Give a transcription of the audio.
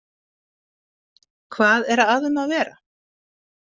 Hvað er að um að vera?